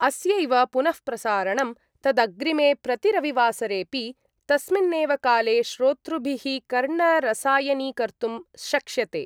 अस्यैव पुनः प्रसारणं तदग्रिमे प्रतिरविवासरेपि तस्मिन्नेव काले श्रोतृभिः कर्णरसायनीकर्तुं शक्ष्यते।